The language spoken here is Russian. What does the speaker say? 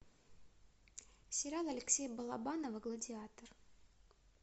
сериал алексея балабанова гладиатор